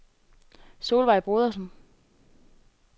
Solveig Brodersen